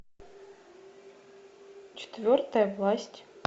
четвертая власть